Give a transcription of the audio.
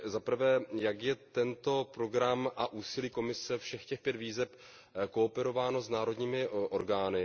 Za prvé, jak jsou tento program a úsilí Komise, všech těch pět výzev, koordinovány s národními orgány?